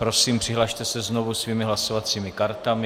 Prosím, přihlaste se znovu svými hlasovacími kartami.